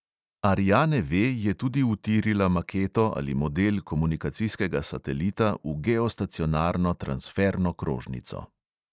Ariana V je tudi utirila maketo ali model komunikacijskega satelita v geostacionarno transferno krožnico.